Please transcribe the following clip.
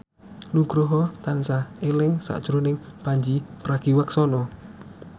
Nugroho tansah eling sakjroning Pandji Pragiwaksono